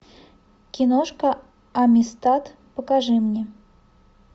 киношка амистад покажи мне